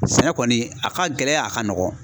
Sɛnɛ kɔni a ka gɛlɛn a ka nɔgɔn.